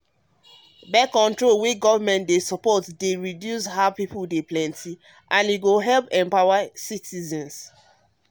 born-control wey government dey support um dey try reduce how people dey people dey plenty so e go help empower citizens.honestly